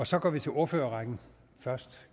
så går vi til ordførerrækken først